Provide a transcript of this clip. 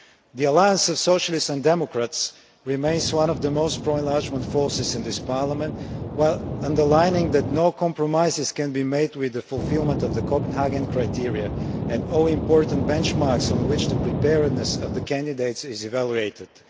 The Alliance of Socialists and Democrats remains one of the most pro enlargement forces in this Parliament, while underlining that no compromises can be made with the fulfilment of the Copenhagen criteria and all the important benchmarks on which the preparedness of the candidates is evaluated.